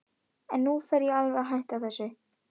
En nú fer ég alveg að hætta þessu.